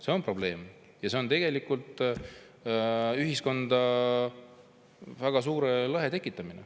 See on probleem ja see tekitab tegelikult ühiskonda väga suure lõhe.